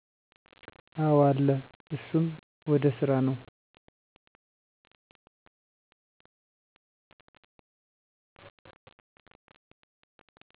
አወ አለ እሱም ወደ ስራ ነው።